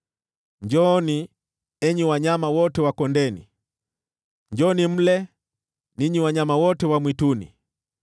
Njooni, enyi wanyama wote wa kondeni, njooni mle, ninyi wanyama wote wa mwituni!